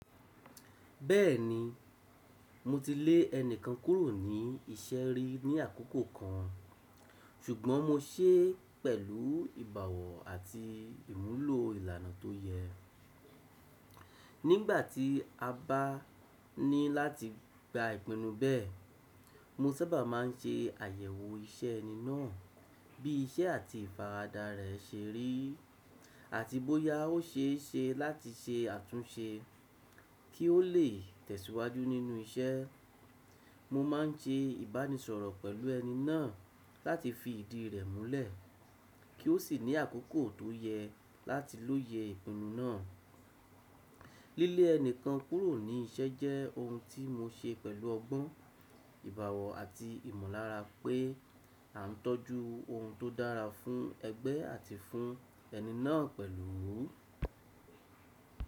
Bẹ́ẹ̀ni, mo ti lé ẹni kan kúrò ní iṣẹ́ rí ní àkókò kan, ṣùgbọ́n mo ṣe é pẹ̀lú ìbowọ̀ àti ìmúlò ìlànà tó yẹ. Nígbà tí a bá ní láti gba ìpinnu bẹ́ẹ̀, mo sábà má ń se àyẹ̀wò iṣẹ́ ẹni náà, bí iṣẹ́ àti ìfaradà rẹ̀ se rí, àti bóyá ó ṣe é ṣe láti ṣe àtúnṣe kí ó lè tẹ̀síwájú nínú iṣẹ́. Mo ma ń ṣe ìbánisọ̀rọ̀ pẹ̀lú ẹni náà láti fi ìdí rẹ̀ múlẹ̀, kí ó sì ní àkókò tó yẹ láti lóye ìpinnu náà. Lílé ẹni kan kúrò ní iṣẹ́ jẹ́ ohun tí mo ṣe pẹ̀lú ọgbọ́n, ìbowọ̀ àti ìmọ̀lára pé a n tọ́jú ohun tó dára fún ẹgbẹ́ àti fún ẹni náà pẹ̀lú.